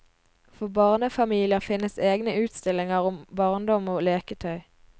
For barnefamilier finnes egne utstillinger om barndom og leketøy.